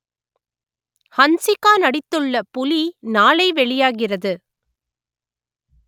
ஹன்சிகா நடித்துள்ள புலி நாளை வெளியாகிறது